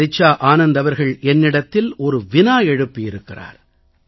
ரிச்சா ஆனந்த் அவர்கள் என்னிடத்தில் ஒரு வினா எழுப்பியிருக்கிறார்